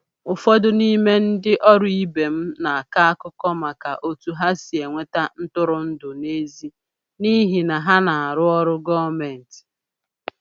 Ụfọdụ n'ime ndị ọrụ ibe m na-akọ akụkọ maka otu ha si enweta ntụrụndụ n’èzí n'ihi na ha na-arụ ọrụ gọọmentị..